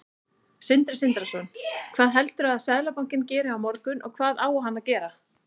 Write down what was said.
Sindri Sindrason: Hvað heldurðu að Seðlabankinn geri á morgun, og hvað á hann að gera?